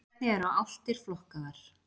Hvernig eru álftir flokkaðar?